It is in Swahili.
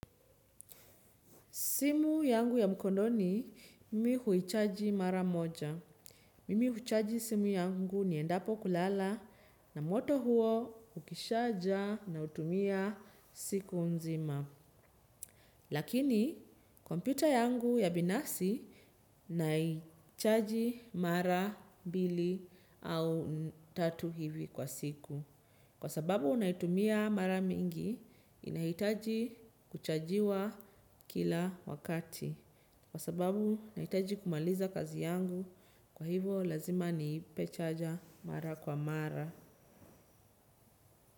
Simu yangu ya mkononi, mimi huichaji mara moja. Mimi huchaji simu yangu niendapo kulala na moto huo ukishajaa nautumia siku mzima lakini, kompyuta yangu ya binasi naichaji mara mbili au tatu hivi kwa siku. Kwa sababu naitumia mara mingi, inahitaji kuchajiwa kila wakati. Kwa sababu, nahitaji kumaliza kazi yangu. Kwa hivyo lazima niipe chaja mara kwa mara.